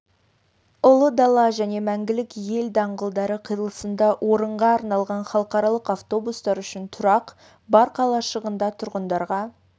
ұлы дала және мәңгілік ел даңғылдары қиылысында орынға арналған халықаралық автобустар үшін тұрақ бар қалашығында тұратындарға